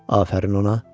Afərin ona.